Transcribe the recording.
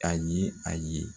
A ye a ye